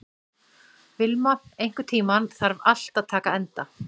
Vilma, einhvern tímann þarf allt að taka enda.